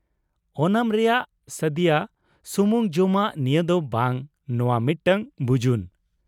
ᱳᱱᱟᱢ ᱨᱮᱭᱟᱜ ᱥᱟᱫᱤᱭᱟ ᱥᱩᱢᱩᱝ ᱡᱚᱢᱟᱜ ᱱᱤᱭᱟᱹ ᱫᱚ ᱵᱟᱝ, ᱱᱚᱶᱟ ᱢᱤᱫᱴᱟᱝ ᱵᱩᱡᱩᱱ ᱾